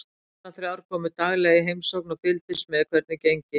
Löggurnar þrjár komu daglega í heimsókn og fylgdust með hvernig gengi.